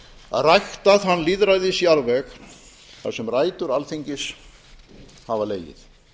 að rækta þann lýðræðisjarðveg þar sem rætur alþingis hafa legið